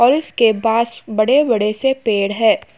और इसके बास बड़े-बड़े से पेड़ है।